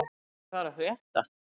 Albína, hvað er að frétta?